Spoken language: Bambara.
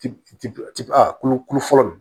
Ti ti a kulukulu fɔlɔ